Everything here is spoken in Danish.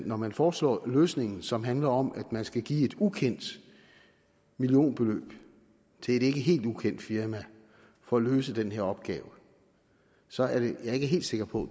når man foreslår en løsning som handler om at man skal give et ukendt millionbeløb til et ikke helt ukendt firma for at løse den her opgave så er jeg ikke helt sikker på